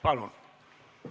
Palun!